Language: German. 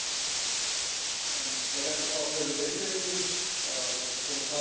Frau Präsidentin, liebe Frau Kommissarin, sehr geehrte Damen und Herren!